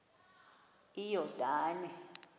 iyordane